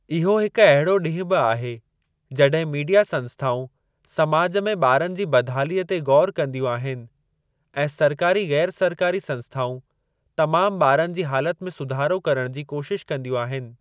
इहो हिकु अहिड़ो ॾींहुं बि आहे जॾहिं मीडिया संस्‍थाउं समाज में ॿारनि जी बदहालीअ ते गौर कंदियूं आहिनि ऐं सरकारी ग़ैरु सरकारी संस्‍थाउं तमाम ॿारनि जी हालत में सुधारो करण जी कोशिश कंदियूं आहिनि।